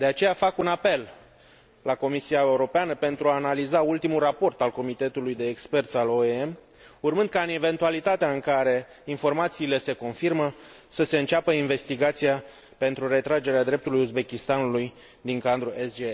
De aceea, fac un apel la Comisia Europeană pentru a analiza ultimul raport al comitetului de experți al OIM, urmând ca, în eventualitatea în care informațiile se confirmă, să se înceapă investigația pentru retragerea dreptului Uzbekistanului din cadrul SGP.